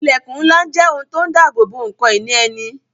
Ilẹkun ńlá jẹ́ ohun tó ń dabobo ǹkan ìní ẹni